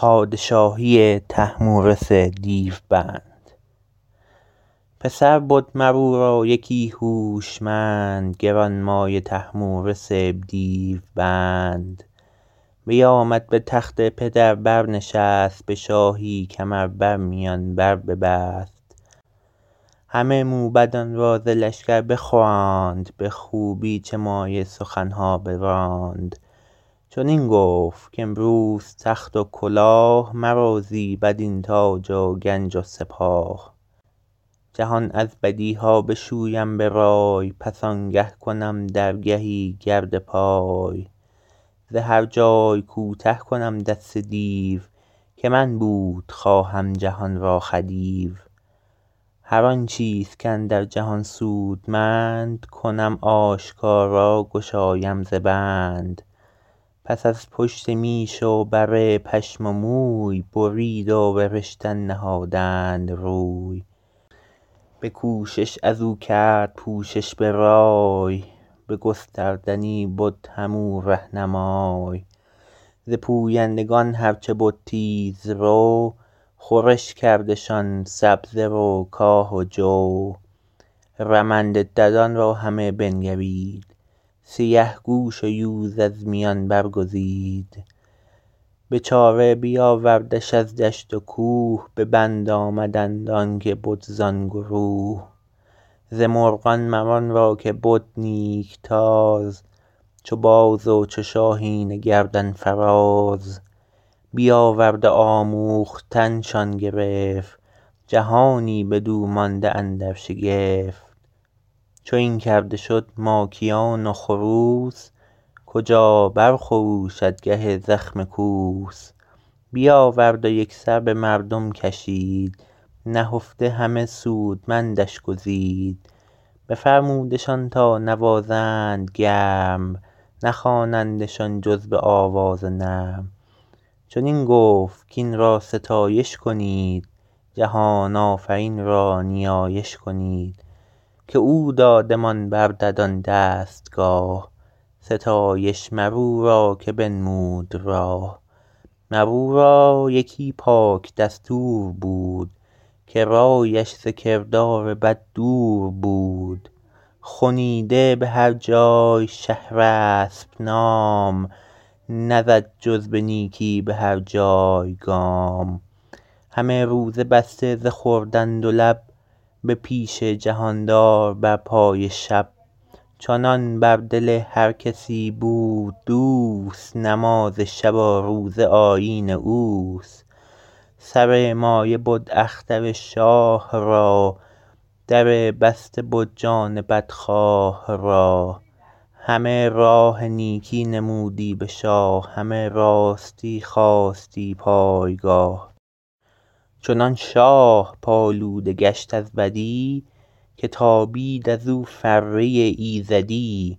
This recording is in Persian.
پسر بد مر او را یکی هوشمند گرانمایه طهمورث دیو بند بیامد به تخت پدر بر نشست به شاهی کمر بر میان بر ببست همه موبدان را ز لشکر بخواند به خوبی چه مایه سخن ها براند چنین گفت کامروز تخت و کلاه مرا زیبد این تاج و گنج و سپاه جهان از بدی ها بشویم به رای پس آنگه کنم درگهی گرد پای ز هر جای کوته کنم دست دیو که من بود خواهم جهان را خدیو هر آن چیز کاندر جهان سودمند کنم آشکارا گشایم ز بند پس از پشت میش و بره پشم و موی برید و به رشتن نهادند روی به کوشش از او کرد پوشش به رای به گستردنی بد هم او رهنمای ز پویندگان هر چه بد تیز رو خورش کردشان سبزه و کاه و جو رمنده ددان را همه بنگرید سیه گوش و یوز از میان برگزید به چاره بیاوردش از دشت و کوه به بند آمدند آن که بد زان گروه ز مرغان مر آن را که بد نیک تاز چو باز و چو شاهین گردن فراز بیاورد و آموختن شان گرفت جهانی بدو مانده اندر شگفت چو این کرده شد ماکیان و خروس کجا بر خروشد گه زخم کوس بیاورد و یک سر به مردم کشید نهفته همه سودمندش گزید بفرمودشان تا نوازند گرم نخوانندشان جز به آواز نرم چنین گفت کاین را ستایش کنید جهان آفرین را نیایش کنید که او دادمان بر ددان دستگاه ستایش مر او را که بنمود راه مر او را یکی پاک دستور بود که رایش ز کردار بد دور بود خنیده به هر جای شهرسپ نام نزد جز به نیکی به هر جای گام همه روز بسته ز خوردن دو لب به پیش جهاندار بر پای شب چنان بر دل هر کسی بود دوست نماز شب و روزه آیین اوست سر مایه بد اختر شاه را در بسته بد جان بدخواه را همه راه نیکی نمودی به شاه همه راستی خواستی پایگاه چنان شاه پالوده گشت از بدی که تابید ازو فره ایزدی